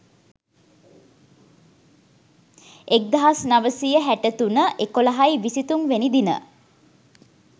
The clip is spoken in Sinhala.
1963.11.23 වෙනි දින